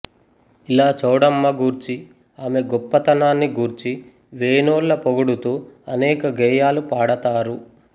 ఇలా చౌడమ్మ గూర్చి ఆమె గొప్ప తనాన్ని గూర్చి వేనోళ్ళ పొగుడుతూ అనేక గేయాలు పాడతారు